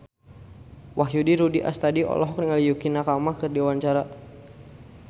Wahyu Rudi Astadi olohok ningali Yukie Nakama keur diwawancara